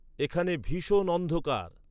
এখানে ভীষণ অন্ধকার